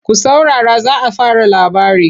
Ku saurara za a fara labari!